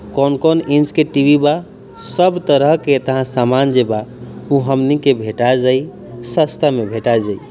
कौन-कौन इंच के टी.वी. बा सब तरह के समांज बा ऊ हमनी के भेटा जाई सस्ता में भेटा जाई।